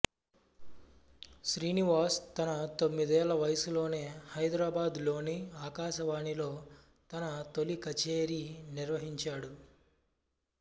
శ్రీనివాస్ తన తొమ్మిదేళ్ళ వయసులోనే హైదరాబాదులోని ఆకాశవాణిలో తన తొలి కచేరీ నిర్వహించాడు